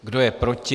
Kdo je proti?